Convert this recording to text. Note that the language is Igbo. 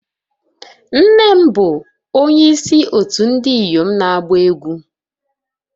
Nne m bụ onyeisi òtù ndị inyom na-agba egwú